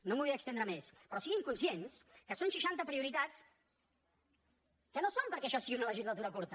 no em vull estendre més però siguin conscients que són seixanta prioritats que no són perquè això sigui una legislatura curta